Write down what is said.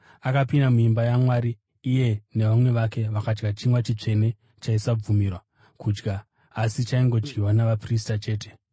Akapinda muimba yaMwari iye nevamwe vake vakadya chingwa chitsvene chavaisabvumirwa kudya, asi chaingodyiwa navaprista chete.